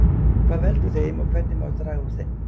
Hvað veldur þeim og hvernig má draga úr þeim?